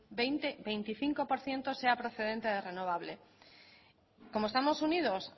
veinticinco por ciento sea procedente de renovable como estamos unidos